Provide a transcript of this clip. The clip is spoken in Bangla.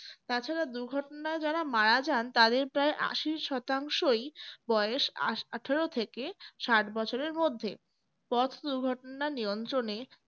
তাছাড়া দূর্ঘটনায় যারা মারা যান তাদের প্রায় আশি শতাংশই বয়স আটারো থেকে ষাট বছরের মধ্যে পথ দুর্ঘটনা নিয়ন্ত্রণে